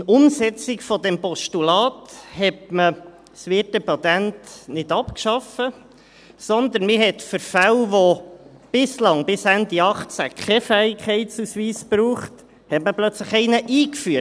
In Umsetzung dieses Postulats hat man das Wirtepatent nicht abgeschafft, sondern man hat für Fälle, wo es bislang, bis Ende 2018, keinen Fähigkeitsausweis brauchte, plötzlich einen eingeführt.